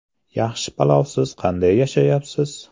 Yaxshi palovsiz qanday yashayapsiz?